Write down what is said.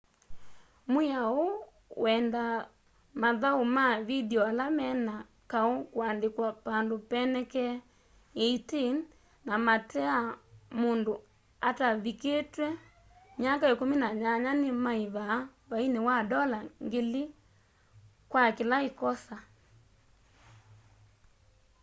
mwiao huu wendaa mathaũ ma vindio ala mena kaũ kuandikwa pandũ penekee 18 na mateea mũndũ atavikitye myaka 18 ni maivaa vaini wa ndola 1000 kwa kila ikosa